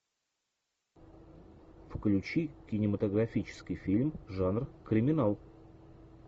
включи кинематографический фильм жанр криминал